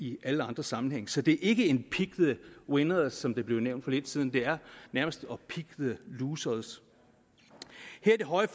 i alle andre sammenhænge så det er ikke pick the winners som det blev nævnt for lidt siden det er nærmest pick the losers her i det høje